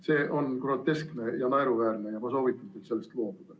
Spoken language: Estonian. See on groteskne ja naeruväärne ja ma soovitan teil sellest loobuda.